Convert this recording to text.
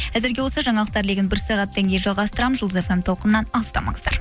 әзірге осы жаңалықтар легін бір сағаттан кейін жалғастырамын жұлдыз фм толқынынан алыстамаңыздар